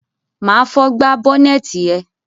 Má à fọ gbá bọ́nẹ́tì ẹ.